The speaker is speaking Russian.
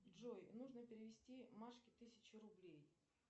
джой нужно перевести машке тысячу рублей